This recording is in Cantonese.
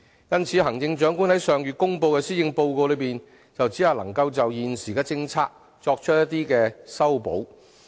因此，行政長官於上月公布的施政報告只能就現行政策作出修補。